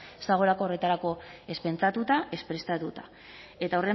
ez dagoelako horretarako ez pentsatuta ez prestatuta eta